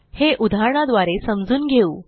हे उदाहरणाद्वारे समजून घेऊ